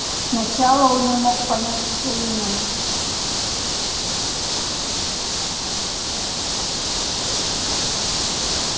сначала он не мог понять что именно